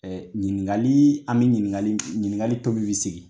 Ɛɛ ɲininkali an bɛ ɲininkali ɲininkali tomi bɛ segin